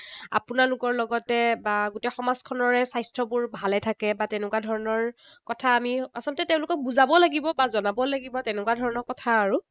আপোনালোকৰ লগতে বা গোটেই সমাজখনৰে স্বাস্থ্যবোৰ ভালেই থাকে, বা তেনেকুৱা ধৰণৰ কথা আমি আচলতে তেওঁলোকক বুজাব লাগিব বা জনাব লাগিব, তেনেকুৱা ধৰণৰ কথা আৰু।